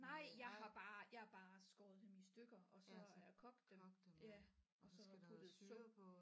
Nej jeg har bare jeg har bare skåret dem i stykker og så er kogt dem ja og så puttet sukker